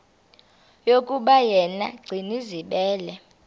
yokuba yena gcinizibele